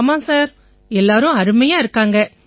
ஆமாம் சார் எல்லாரும் அருமையா இருக்காங்க